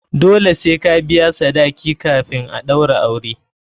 Dole sai ka biya sadaki kafin a ɗaura aure.